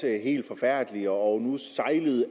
er helt forfærdeligt og